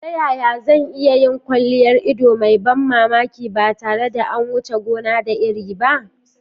Ta yaya zan iya yin kwalliyar ido mai ban mamaki ba tare da an wuce gona da iri ba?